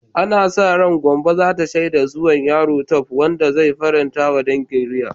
Ana sa ran Gombe za ta shaida zuwan yaro Tope, wanda zai faranta wa dangi reai.